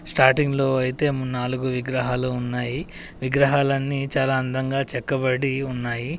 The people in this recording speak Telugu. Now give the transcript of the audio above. స్టార్టింగ్లో అయితే నాలుగు విగ్రహాలు ఉన్నాయి. విగ్రహాలన్నీ చాలా అందంగా చెక్కబడి ఉన్నాయి.